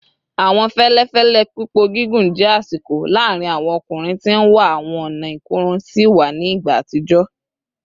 Awọn fẹlẹfẹlẹ pipọ gigun jẹ asiko laarin awọn ọkunrin ti n wa awọn ọna ikorun siwa ni igba atijọ